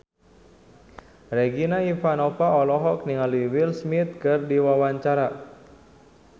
Regina Ivanova olohok ningali Will Smith keur diwawancara